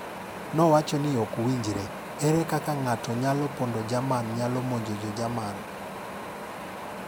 Nowacho ni ok winjre, ere kaka ng'ato nyalo manyo pondo Jerman nyalo monjo jo Jerman.